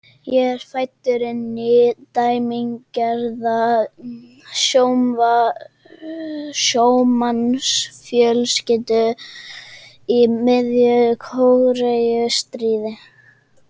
Ég er fæddur inn í dæmigerða sjómannsfjölskyldu í miðju Kóreustríði.